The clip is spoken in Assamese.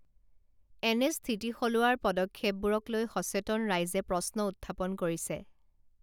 এনে স্থিতি সলোৱাৰ পদক্ষেপবোৰক লৈ সচেতন ৰাইজে প্ৰশ্ন উত্থাপন কৰিছে